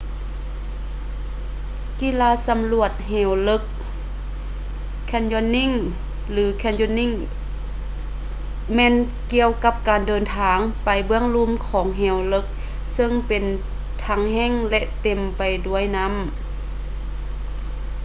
ກິລາສຳຫຼວດເຫວເລິກ canyoning ຫຼື canyoneering ແມ່ນກ່ຽວກັບການເດິນທາງໄປເບື້ອງລຸ່ມຂອງເຫວເລິກ ເຊິ່ງເປັນທັງແຫ້ງ ຫຼື ເຕັມໄປດ້ວຍນໍ້າ